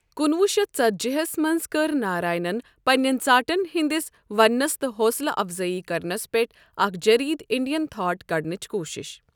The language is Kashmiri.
کُنہوُہ شیٚتھ ژَتجی ہس منز کٕر ناراینن پنین ژاٹھن ہندِس وننس تہٕ حوصلہٕ افضٲیی کرنس پیٹھ اکھ جریدٕ 'اِنڈین تھاٹ ' کڈنٕچہِ کوُشِش ۔